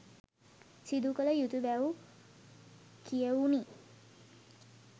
සිදුකළ යුතු බැව් කියැවුණි.